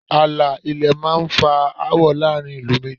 Ààlà ilẹ̀ náà máá ń fa áwọ̀ láàrin ìlú méjì